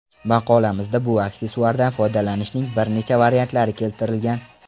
Maqolamizda bu aksessuardan foydalanishning bir necha variantlari keltirilgan.